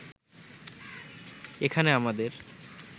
এখানে আমাদের